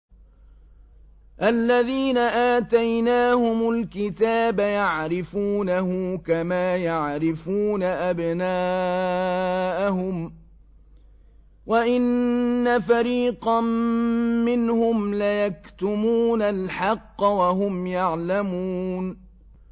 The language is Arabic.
الَّذِينَ آتَيْنَاهُمُ الْكِتَابَ يَعْرِفُونَهُ كَمَا يَعْرِفُونَ أَبْنَاءَهُمْ ۖ وَإِنَّ فَرِيقًا مِّنْهُمْ لَيَكْتُمُونَ الْحَقَّ وَهُمْ يَعْلَمُونَ